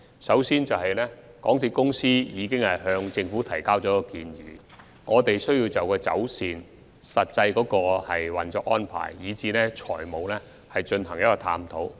首先，港鐵公司已向政府提交建議，我們有需要就走線、實際運作安排以至財務方面進行探討。